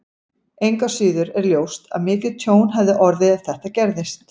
Engu að síður er ljóst að mikið tjón hefði orðið ef þetta gerist.